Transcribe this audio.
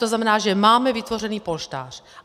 To znamená, že máme vytvořen polštář.